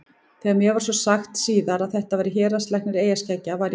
Þegar mér var svo sagt síðar að þetta væri héraðslæknir eyjaskeggja varð ég orðlaus.